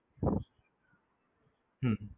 હમ